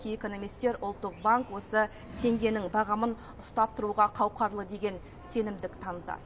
кей экономистер ұлттық банк осы теңгенің бағамын ұстап тұруға қауқарлы деген сенімдік танытады